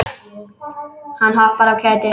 Hann hoppar af kæti.